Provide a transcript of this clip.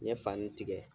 N ye fani tigɛ